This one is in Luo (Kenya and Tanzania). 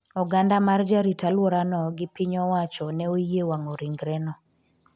oganda mar jarit alwora no gi piny owacho ne oyie wang'o ringre no